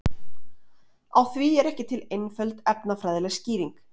Á því er ekki til einföld efnafræðileg skýring.